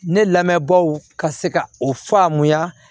Ne lamɛnbaaw ka se ka o faamuya